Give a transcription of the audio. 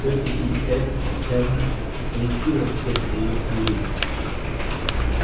тётя питтипэт явно оповестила всех о её приезде